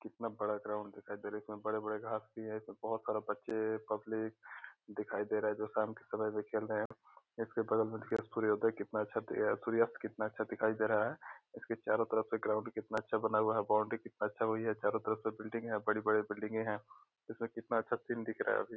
कितना बड़ा ग्राउंड दिखाई दे रहा है इसमें बड़े-बड़े घांस भी है इसमें बहोत सारा बच्चे पब्लिक दिखाए दे रहे हैं जो शाम के समय में खेल रहे हैं इसके बगल में देखिए सूर्योदय कितना अच्छा अ सूर्यास्त कितना अच्छा दिखाई दे रहा है इसके चारो तरफ से ग्राउंड कितना अच्छा बना हुआ है बाउंड्री कितना अच्छा हुई है चारो तरफ सब बिल्डिंगे हैं बड़े-बड़े बिल्डिंगे है इसमें कितना अच्छा सीन दिख रहा है अभी।